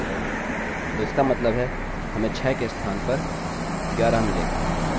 तो इसका मतलब है कि हमें 6 के स्थान पर 11 मिलेगा